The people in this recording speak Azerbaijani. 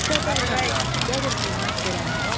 Qədərlər, qədr-qiymət verənlər.